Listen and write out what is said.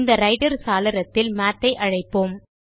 இந்த ரைட்டர் சாளரத்தில் மாத் ஐ அழைப்போம்